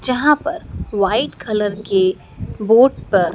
जहां पर white colour के बोर्ड पर--